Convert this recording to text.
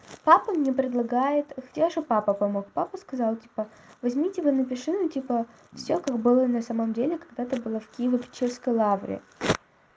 папа мне предлагает те же папа помог папа сказал типа возьмите вы напиши ну типа всё как было на самом деле когда ты была в киево-печёрской лавре